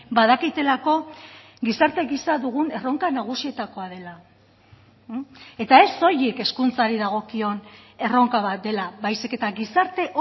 badakitelako gizarte gisa dugun erronka nagusietakoa dela eta ez soilik hezkuntzari dagokion erronka bat dela baizik eta gizarte